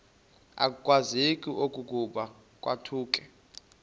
akwazeki okokuba kwakuthe